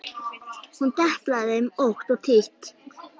Hún deplaði þeim ótt og títt.